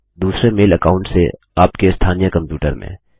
आपके दूसरे mail account से आपके स्थानीय कंप्यूटर में